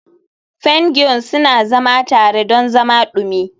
Pingwin suna zama tare don zama dumi.